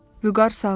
Vüqar sağdır.